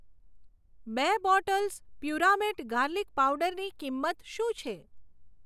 બે બોટલ્સ પુરામેટ ગાર્લિક પાવડરની કિંમત શું છે?